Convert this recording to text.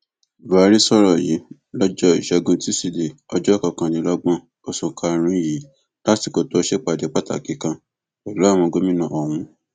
buhari sọrọ yìí lọjọ ìṣẹgun tusidee ọjọ kọkànlélọgbọn oṣù karùnún yìí lásìkò tó ṣèpàdé pàtàkì kan pẹlú àwọn gómìnà ọhún